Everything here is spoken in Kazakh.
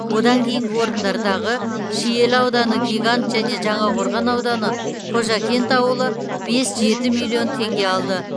одан кейінгі орындардағы шиелі ауданы гигант және жаңақорған ауданы қожакент ауылы бес жеті миллион теңге алды